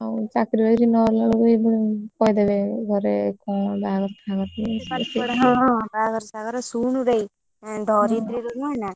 ହଁ ଚାକିରି ବାକିରି ନହେଲାବେଳକୁ କହିଦେବେ ଘରେ କଣ ବାହାଘର ଫାଘର ହଁ ହଁ ବାହାଘର ଫାହାଘର ଶୁଣୁରେ ଆଁ ଧରିତ୍ରୀର ନୁହନା,